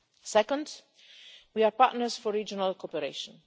Second, we are partners for regional cooperation.